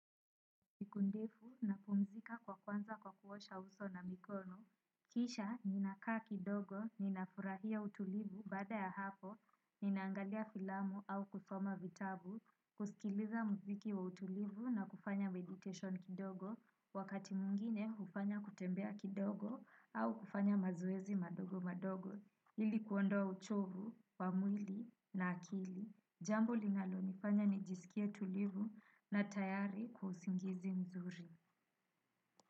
Siku ndefu na pumzika kwa kwanza kwa kuosha uso na mikono. Kisha ninakaa kidogo, ninafurahia utulivu baada ya hapo, ninaangalia filamu au kusoma vitabu, kusikiliza muziki wa utulivu na kufanya meditation kidogo, wakati mwingine hufanya kutembea kidogo au kufanya mazoezi madogo madogo. Ili kuondoa uchovu, wa mwili na akili. Jambo linalo nifanya nijisikie tulivu na tayari kwa usingizi mzuri.